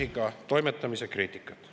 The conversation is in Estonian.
… ei kannata minimaalsetki kriitikat.